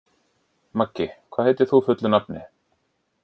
Maggi, hvað heitir þú fullu nafni?